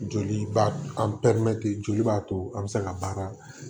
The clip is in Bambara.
Joli b'a an pe joli b'a to an bɛ se ka baara